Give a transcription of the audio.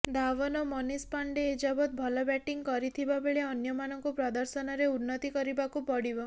ଧାୱନ୍ ଓ ମନୀଷ ପାଣ୍ଡେ ଏଯାବତ୍ ଭଲ ବ୍ୟାଟିଂ କରିଥିବା ବେଳେ ଅନ୍ୟମାନଙ୍କୁ ପ୍ରଦର୍ଶନରେ ଉନ୍ନତି କରିବାକୁ ପଡ଼ିବ